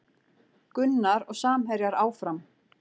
Gunnar og samherjar áfram